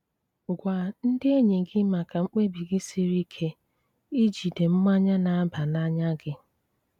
Gwá ndí enýí gị mákà mkpébi gị sírí íké íjídè mmányá ná-àbá n'ánýá gị.